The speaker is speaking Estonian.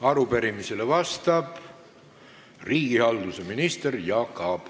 Arupärimisele vastab riigihalduse minister Jaak Aab.